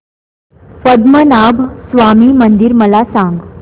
पद्मनाभ स्वामी मंदिर मला सांग